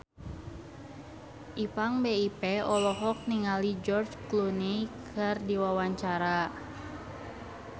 Ipank BIP olohok ningali George Clooney keur diwawancara